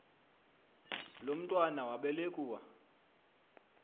lo mntwana wabelekua